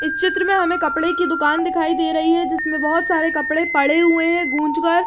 इस चित्र में हमे एक कपडे की दूकान दिखाई दे रही है जिसमे बहुत सारे कपडे पड़े हुए है गूंज कर --